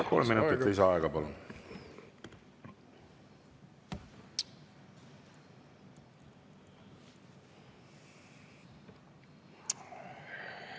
Palun, kolm minutit lisaaega!